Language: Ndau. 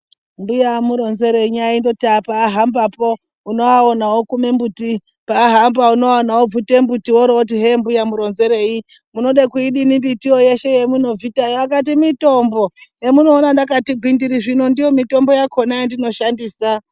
Mbuya amuronzenyi aindoti paahambapo onoaona okume mbuti. Pahamba unovaona vobvuta mbuti oro voti hembuya muronzerei. Munode kuidini mbitiyo yeshe yemunobvita akati mitombo zvamunoona ndakati gwindiri ndiyo mitombo yakona yandinoshandisa.